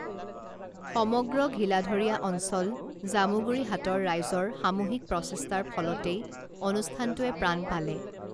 সমগ্ৰ ঘীলাধৰীয়া অঞ্চল জামুগুৰি হাটৰ ৰাইজৰ সামূহিক প্ৰচেষ্টাৰ ফলতেই অনুষ্ঠানটোৱে প্ৰাণ পালে